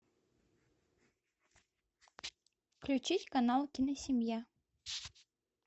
включить канал киносемья